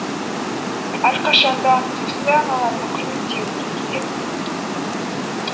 әрқашанда осындай аналарды құрметтеуіміз керек